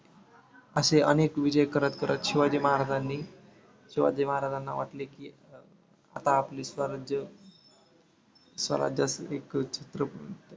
असे अनेक विजय करत करत शिवाजी महाराजांनी शिवाजी महाराजांना वाटले की आता आपले स्वराज स्वराज्याचे एक चित्र बनवून